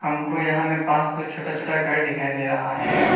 हमको यहां में पांच तो छोटा छोटा घर दिखाई दे रहा है।